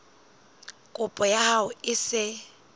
kopo ya hao e se